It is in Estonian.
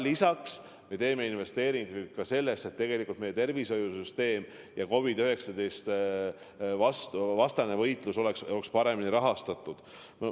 Lisaks me teeme investeeringuid ka selleks, et meie tervishoiusüsteem ja kogu COVID-19 vastane võitlus oleks paremini rahastatud.